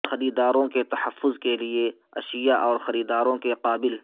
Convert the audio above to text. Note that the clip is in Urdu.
خریداروں کے تحفظ کے لئے اشیاء اور خریداروں کے قابل